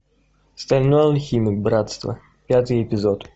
стальной алхимик братство пятый эпизод